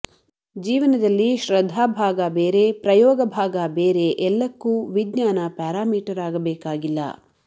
ಜೀವನದಲ್ಲಿ ಶ್ರದ್ಧಾ ಭಾಗ ಬೇರೆ ಪ್ರಯೋಗ ಭಾಗ ಬೇರೆ ಎಲ್ಲಕ್ಕೂ ವಿಜ್ಞಾನ ಪ್ಯಾರಾಮೀಟರ್ ಆಗಬೇಕಾಗಿಲ್ಲ